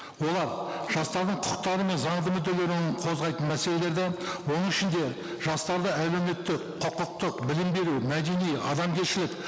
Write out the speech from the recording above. олар жастардың құқықтары мен заңды мүдделерін қозғайтын мәселелерді оның ішінде жастарды әлеуметтік құқықтық білім беру мәдени адамгершілік